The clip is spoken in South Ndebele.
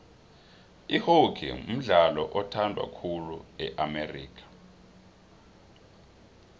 ihockey mdlalo othandwa khulu e amerika